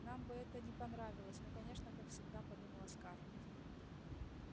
нам бы это не понравилось ну конечно как всегда подумала скарлетт